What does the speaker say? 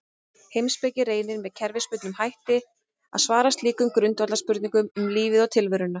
Heimspeki reynir með kerfisbundnum hætti að svara slíkum grundvallarspurningum um lífið og tilveruna.